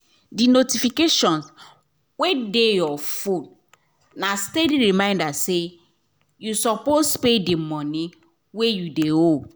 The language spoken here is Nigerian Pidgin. the notifications wey dey your phone na steady reminder say you suppose pay the money wey you de owe